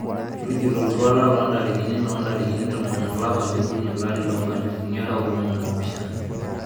tujoto oltuala loo intarikini loo itarikini tomon olapa liokuni olari loo inkalifuni are oo tomon oopishana